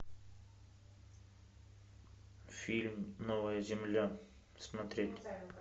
фильм новая земля смотреть